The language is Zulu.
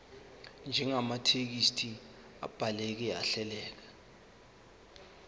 njengamathekisthi abhaleke ahleleka